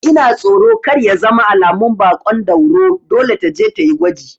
Ina tsoro kar ya zama alamun baƙon dauro, dole taje tayi gwaji